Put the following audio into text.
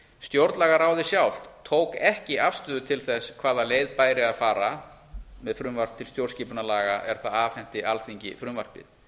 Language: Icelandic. stjórnlagaráðið sjálft tók ekki afstöðu til þess hvaða leið bæri að fara með frumvarp til stjórnarskipunarlaga er það afhenti alþingi frumvarpið